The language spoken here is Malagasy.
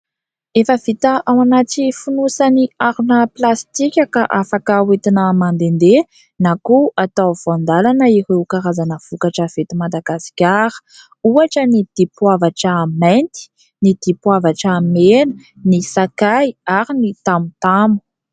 Efa vita ao anaty fonosany harona plastika ka afaka hoentina mandehandeha na koa atao voandalana ireo karazana vokatra eto Madagasikara. Ohatra : ny dipoavatra mainty, ny dipoavatra mena, ny sakay ary ny tamotamo.